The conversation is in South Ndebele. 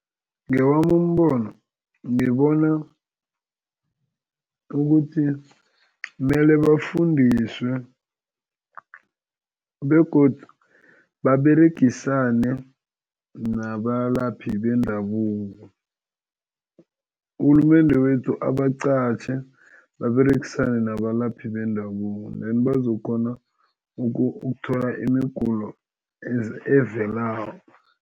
Ngewami umbono ngibona ukuthi kumele bafundiswe begodu baberegisane nabalaphi bendabuko. Urhulumende wethu abaqatjhe baberegisane nabalaphi bendabuko then bazokukghona ukuthola imigulo evelako.